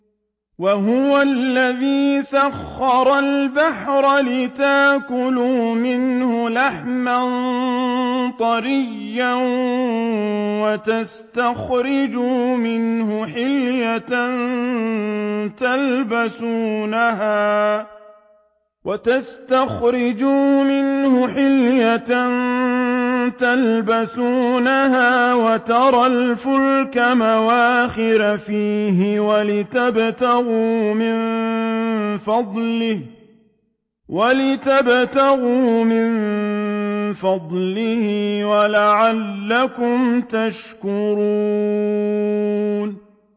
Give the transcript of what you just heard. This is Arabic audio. وَهُوَ الَّذِي سَخَّرَ الْبَحْرَ لِتَأْكُلُوا مِنْهُ لَحْمًا طَرِيًّا وَتَسْتَخْرِجُوا مِنْهُ حِلْيَةً تَلْبَسُونَهَا وَتَرَى الْفُلْكَ مَوَاخِرَ فِيهِ وَلِتَبْتَغُوا مِن فَضْلِهِ وَلَعَلَّكُمْ تَشْكُرُونَ